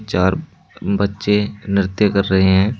चार बच्चे नृत्य कर रहे हैं।